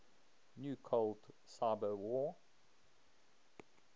new cold cyberwar